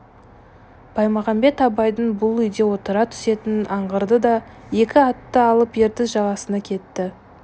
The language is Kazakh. баймағамбет абайдың бұл үйде отыра түсетінін аңғарды да екі атты алып ертіс жағасына кетті